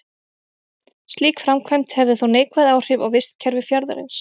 Slík framkvæmd hefði þó neikvæð áhrif á vistkerfi fjarðarins.